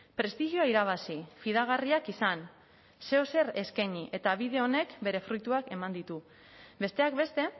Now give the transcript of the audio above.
prestigioa irabazi fidagarriak izan zeozer eskaini eta bide honek bere fruituak eman ditu besteak beste